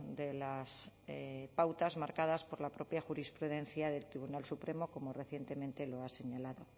de las pautas marcadas por la propia jurisprudencia del tribunal supremo como recientemente lo ha señalado